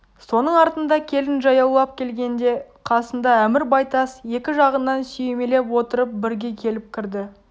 соның артында келін жаяулап келгенде қасында әмір байтас екі жағынан сүйемелеп отырып бірге келіп кірді